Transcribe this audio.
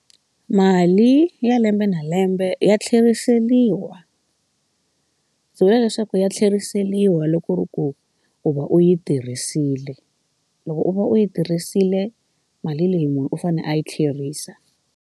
Mali ya lembe na lembe ya tlheriseriwa ndzi vula leswaku ya tlheriseriwa loko ri ku u va u yi tirhisile loko u va u yi tirhisile mali leyi munhu u fane a yi tlherisa.